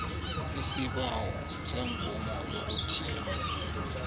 isibawo semvumo yokuthiya